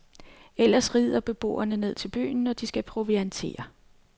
Ellers rider beboerne ned til byen, når de skal proviantere.